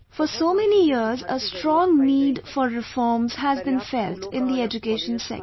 For the last so many years, a strong need for reforms has been felt in the education sector